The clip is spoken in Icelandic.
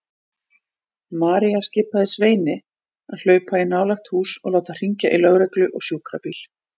María skipaði Sveini að hlaupa í nálægt hús og láta hringja í lögreglu og sjúkrabíl.